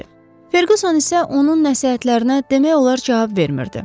Ferquson isə onun nəsihətlərinə demək olar cavab vermirdi.